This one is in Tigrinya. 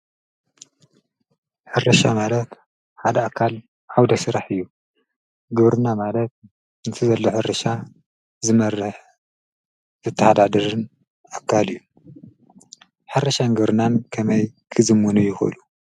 ሕርሻ ማለት ሓደ ኣካል ዓውደ ስራሕ እዩ፡፡ ግብርና ማለት ነቲ ዘሎ ሕርሻ ዝመርሕ ዘተሓዳድርን ኣካል እዩ፡፡ ሕርሻን ግብርናን ከመይ ክዝምኑ ይኽእሉ?